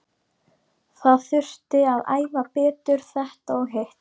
Það þurfti að æfa betur þetta og hitt.